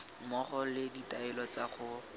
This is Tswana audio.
mmogo le ditaelo tsa go